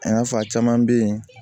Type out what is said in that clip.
A y'a fɔ a caman bɛ yen